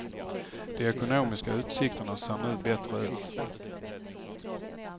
De ekonomiska utsikterna ser nu bättre ut.